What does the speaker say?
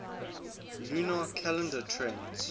lunar calendar tends